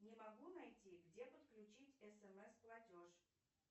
не могу найти где подключить смс платеж